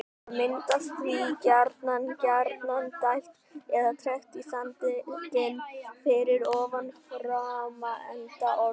Það myndast því gjarnan gjarnan dæld eða trekt í sandinn fyrir ofan framenda ormsins.